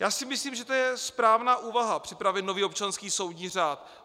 Já si myslím, že to je správná úvaha, připravit nový občanský soudní řád.